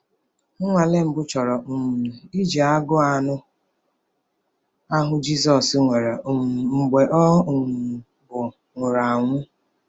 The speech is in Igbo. Nnwale mbụ chọrọ um iji agụụ anụ ahụ Jizọs nwere um mgbe ọ um bụ nwụrụ anwụ.